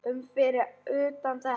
um fyrir utan þetta.